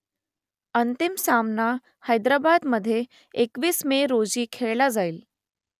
अंतिम सामना हैदराबादमध्ये एकवीस मे रोजी खेळला जाईल